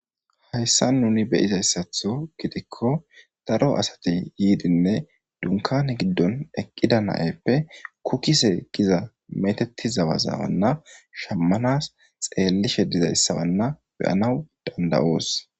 Hayssa nuni beyizayssatho gidikko daro asati yiidinne dunkane giddon eqqida na'eppe kukise giza meteti zabazabanna shammanas xeellishe dizayssabanna beyanaw danda'oos.